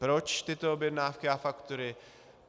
Proč tyto objednávky a faktury?